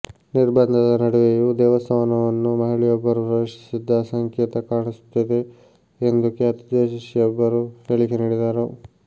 ನಿರ್ಬಂಧದ ನಡುವೆಯೂ ದೇವಸ್ಥಾನವನ್ನು ಮಹಿಳೆಯೊಬ್ಬರು ಪ್ರವೇಶಿಸಿದ್ದ ಸಂಕೇತ ಕಾಣಿಸುತ್ತಿದೆ ಎಂದು ಖ್ಯಾತ ಜೋತಿಷಿಯೊಬ್ಬರು ಹೇಳಿಕೆ ನೀಡಿದ್ದರು